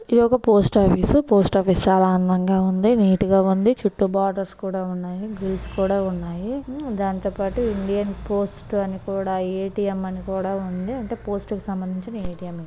ఇది ఒక post office . Post office చాలా అందంగా ఉంది. నీట్ గా ఉంది. చుట్టూ బోర్డర్స్ కూడా ఉన్నాయి. గ్రిల్స్ కూడా ఉన్నాయి. ఆ దాంతోని పాటు ఇండియన్ పోస్ట్ అని కూడా ఏ_టీ_ఎం అని కూడా ఉంది. అంటే పోస్టు కు సంబంధించిన ఏ_టీ_ఎం ఇది